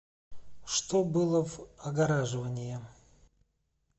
что было в огораживания